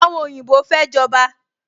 Àwọn oyinbo fẹ́ jọba